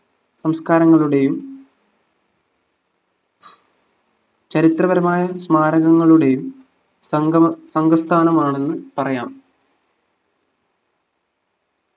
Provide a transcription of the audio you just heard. സംസ്കാരങ്ങളുടെയും ചരിത്രപരമായ സ്മാരകങ്ങളുടെയും സംഗമ സംഘസ്ഥാനമാണെന്ന് പറയാം